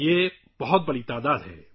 یہ بہت بڑی تعداد ہے